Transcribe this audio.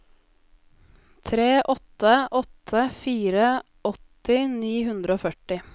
tre åtte åtte fire åtti ni hundre og førti